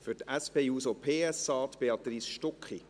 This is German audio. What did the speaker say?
Für die SP-JUSO-PSA spricht Béatrice Stucki.